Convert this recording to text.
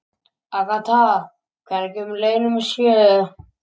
Agatha, hvenær kemur leið númer sjö?